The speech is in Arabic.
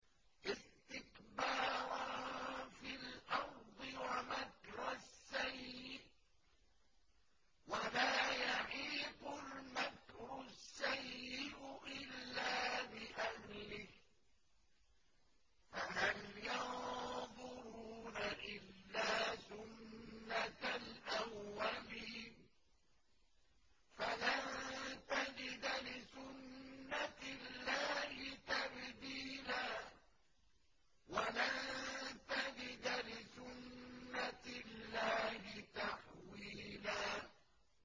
اسْتِكْبَارًا فِي الْأَرْضِ وَمَكْرَ السَّيِّئِ ۚ وَلَا يَحِيقُ الْمَكْرُ السَّيِّئُ إِلَّا بِأَهْلِهِ ۚ فَهَلْ يَنظُرُونَ إِلَّا سُنَّتَ الْأَوَّلِينَ ۚ فَلَن تَجِدَ لِسُنَّتِ اللَّهِ تَبْدِيلًا ۖ وَلَن تَجِدَ لِسُنَّتِ اللَّهِ تَحْوِيلًا